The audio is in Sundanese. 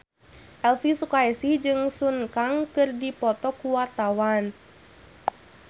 Elvy Sukaesih jeung Sun Kang keur dipoto ku wartawan